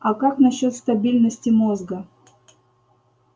а как насчёт стабильности мозга